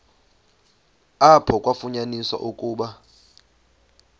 apho kwafunyaniswa ukuba